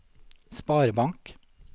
sparebank